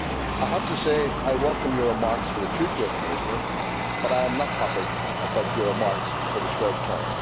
I welcome your remarks for the future, Commissioner, but I am not happy about your remarks for the short term.